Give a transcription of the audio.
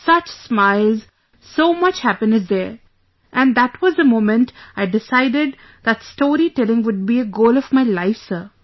such smiles, so much happiness there... and that was the moment I decided that story telling would be a goal of my life sir